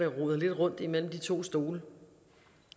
roder lidt rundt imellem de to stole